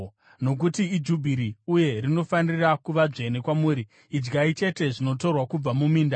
Nokuti iJubhiri uye rinofanira kuva dzvene kwamuri. Idyai chete zvinotorwa kubva muminda.